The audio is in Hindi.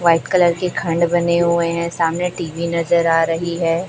व्हाइट कलर के खंड बने हुए है सामने टी_वी नजर आ रही हैं।